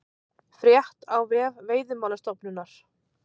Frétt á vef Veiðimálastofnunar